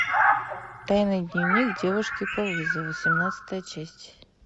тайный дневник девушки по вызову семнадцатая часть